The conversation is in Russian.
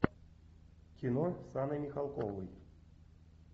кино с анной михалковой